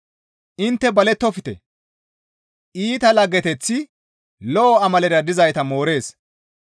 Intte balettofte! Iita laggeteththi lo7o amalera dizayta moorees.